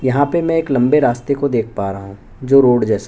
यहाँ पे मैं एक लम्बे रास्ते को देख पा रहा हूँ जो रोड जैसा --